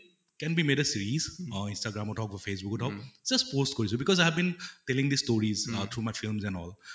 can be made a series instagram অত হওঁক বা facebook অত হওঁক just post কৰিছো because i have been telling the stories much films and all